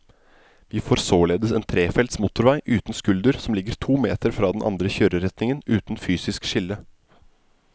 Vi får således en trefelts motorvei uten skulder som ligger to meter fra den andre kjøreretningen, uten fysisk skille.